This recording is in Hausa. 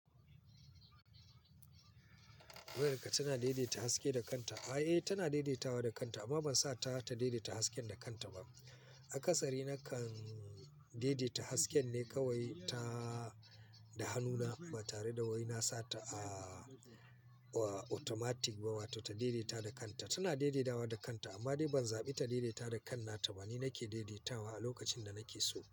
Wayarka tana daidaita haske da kanta? Ai, eh, tana daidaitawa da kanta amma ban sa ta ta daidaita hasken da kanta ba. A kasari nakan daidaita hasken ne kawai ta da hannuna ba tare da wai na sa ta a a automatic ba wato ta daidaita da kanta. Tana daidaitawa da kanta amma dai ban zaɓi ta daidaita da kanta ba ni nake daidaitawa a lokacin da nake so.